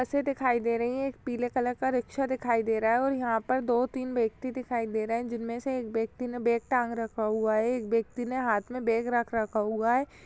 बसें दिखाई दे रही हैं। एक पीले कलर का रिक्शा दिखाई दे रहा है और यहाँ पर दो तीन व्यक्ति दिखाई दे रहे हैं जिनमें से एक व्यक्ति ने बेग टांग रखा हुआ है। एक व्यक्ति ने हाथ में बेग रख रखा हुआ है।